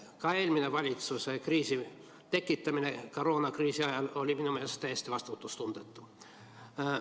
Ka eelmise valitsuskriisi tekitamine koroonakriisi ajal oli minu meelest täiesti vastutustundetu.